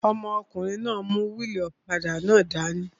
Ọmọkùnrin náà n mú wíìlì ọ̀kadà náà dání